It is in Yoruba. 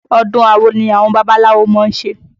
Ọdún awo ni àwọn babaláwo má ń ṣe